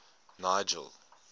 nigel